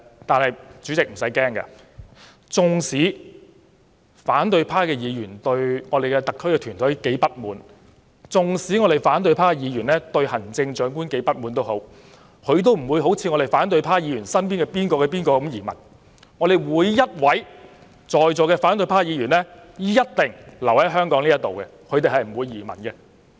但主席無須擔憂，縱使反對派議員對特區政府團隊及行政長官如何不滿，他們也不會像反對派議員身邊的某某一樣移民；席上每位反對派議員一定會留在香港，不會移民。